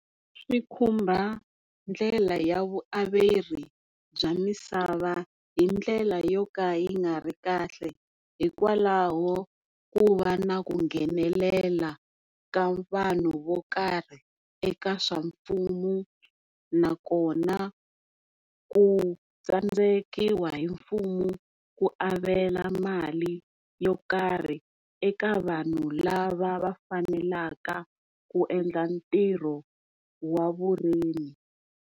Swi khumba ndlela ya vuaveri bya misava hindlela yo ka yi nga ri kahle hikwalaho ku va na ku nghenelela ka vanhu vo karhi eka swa mfumo, nakona ku tsandzekiwa mfumo ku avela mali yo karhi eka vanhu lava va faneleka ku endla ntirho wa vurimi.